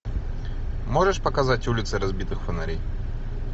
можешь показать улицы разбитых фонарей